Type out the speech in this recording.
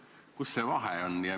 Miks selline vahe?